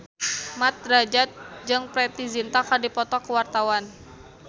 Mat Drajat jeung Preity Zinta keur dipoto ku wartawan